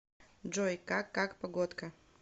джой как как погодка